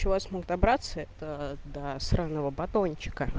человек смог добраться это да странного батончика